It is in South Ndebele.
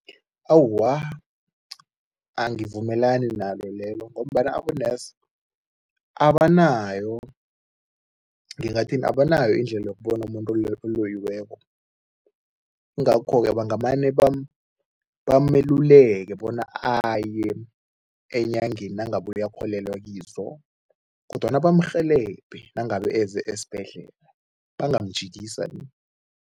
Awa, angivumelani nalo lelo ngombana abo-nurse abanayo, ngingathini? Abanayo indlela yokubona umuntu oloyiweko, yingakho-ke ngamane bameluleke bona aye enyangeni nangabe uyakholelwa kizo kodwana bamrhelebhe nangabe eze esibhedlela, bangamjikisa ni.